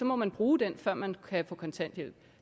må man bruge den før man kan få kontanthjælp